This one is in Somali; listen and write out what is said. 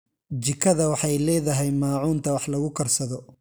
Jikada waxay leedahay maacuunta wax lagu karsado.